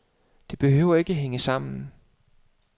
Det behøver ikke hænge sammen.